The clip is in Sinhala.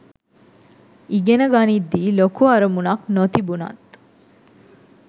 ඉගෙන ගනිද්දි ලොකු අරමුණක් නොතිබුණත්